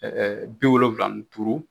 biwolowula ni duuru